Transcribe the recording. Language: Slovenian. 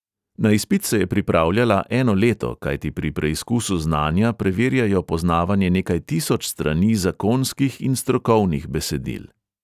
Na izpit se je pripravljala eno leto, kajti pri preizkusu znanja preverjajo poznavanje nekaj tisoč strani zakonskih in strokovnih besedil.